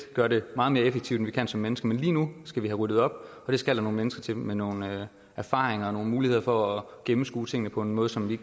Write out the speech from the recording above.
gøre det meget mere effektivt end vi kan som mennesker men lige nu skal vi have ryddet op og det skal der nogle mennesker til med nogle erfaringer og nogle muligheder for at gennemskue tingene på en måde som vi